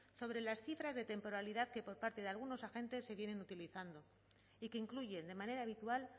sobre las cifras de temporalidad que por parte de algunos agentes se vienen utilizando y que incluyen de manera habitual